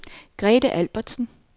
Grete Albertsen